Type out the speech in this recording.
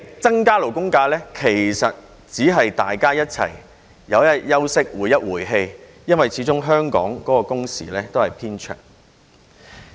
增加勞工假期只是讓大家有幾天休息、回氣，因為始終香港的工時偏長。